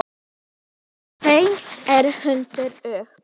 Þeim er hrundið upp.